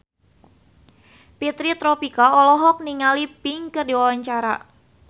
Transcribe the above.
Fitri Tropika olohok ningali Pink keur diwawancara